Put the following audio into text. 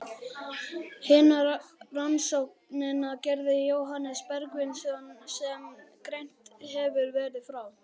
Hina rannsóknina gerði Jóhannes Bergsveinsson, sem greint hefur verið frá.